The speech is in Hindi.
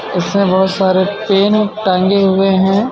इसमें बोहोत सारे पेन टंगे हुई हे.